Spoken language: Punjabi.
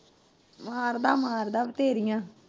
ਮਾਰਦਾ ਮਾਰਦਾ ਬਥੇਰੀਆਂ।